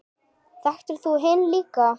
Þekktir þú hinn líka?